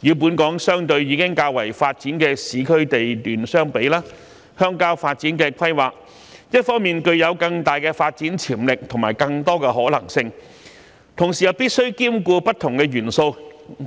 與本港相對已較為發展的市區地段相比，鄉郊發展的規劃一方面具有更大的發展潛力和更多的可能性，同時又必須兼顧不同的元素，